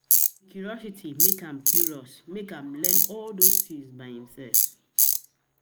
curiosity make am curiosity make am learn all those tins by himself